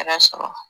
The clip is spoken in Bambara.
Yɛrɛ sɔrɔ